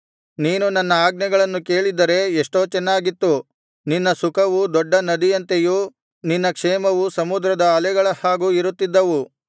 ನೀನು ನನ್ನ ಆಜ್ಞೆಗಳನ್ನು ಕೇಳಿದ್ದರೆ ಎಷ್ಟೋ ಚೆನ್ನಾಗಿತ್ತು ನಿನ್ನ ಸುಖವು ದೊಡ್ಡ ನದಿಯಂತೆಯೂ ನಿನ್ನ ಕ್ಷೇಮವು ಸಮುದ್ರದ ಅಲೆಗಳ ಹಾಗೂ ಇರುತ್ತಿದ್ದವು